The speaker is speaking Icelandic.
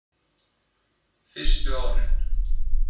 Fyrstu árin